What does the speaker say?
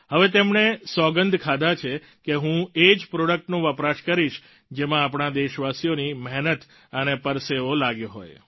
હવે તેમણે સોગંધ ખાધા છે કે હું એ જ પ્રોડક્ટનો વપરાશ કરીશ જેમાં આપણા દેશવાસીઓની મહેનત અને પરસેવો લાગ્યો હોય